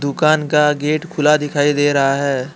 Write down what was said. दुकान का गेट खुला दिखाई दे रहा है।